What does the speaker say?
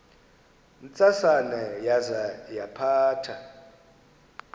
ntsasana yaza yaphatha